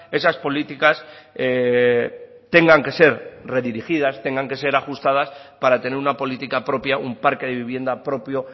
esas políticas tengan que ser redirigidas tengan que ser ajustadas para tener una política propia un parque de vivienda propio